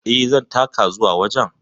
E, zan taka zuwa wajen.